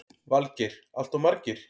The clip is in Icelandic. Valgeir: Alltof margir?